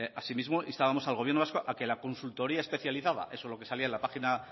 asimismo instábamos al gobierno vasco a que la consultoría especializada eso es lo que salía en la página